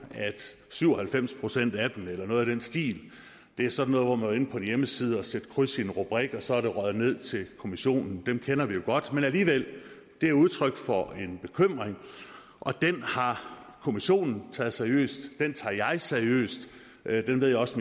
at syv og halvfems procent af dem eller noget i den stil er sådan noget hvor man på en hjemmeside og sat kryds i en rubrik og så er det røget ned til kommissionen dem kender vi jo godt men alligevel det er udtryk for en bekymring og den har kommissionen taget seriøst den tager jeg seriøst den ved jeg også